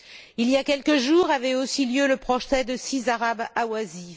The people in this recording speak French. Il y a quelques jours avait aussi lieu le procès de six arabes ahwazis.